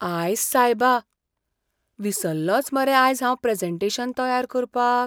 आयस्स सायबा! विसल्लोंच मरे आयज हांव प्रॅजेंटेशन तयार करपाक!